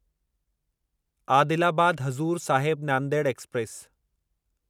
Adilabad Hazur Sahib Nanded express